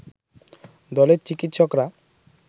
দলের চিকিৎসকরা